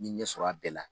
N ye ɲɛsɔrɔ a bɛɛ la